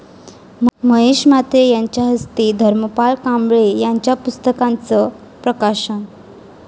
महेश म्हात्रे यांच्या हस्ते धर्मपाल कांबळे यांच्या पुस्तकांचं प्रकाशन